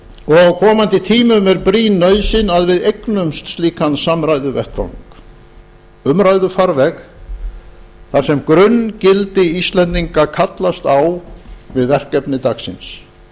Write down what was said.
og á komandi tímum er brýn nauðsyn að við eignumst slíkan samræðuvettvang umræðufarveg þar sem grunngildi íslendinga kallast á við verkefni dagsins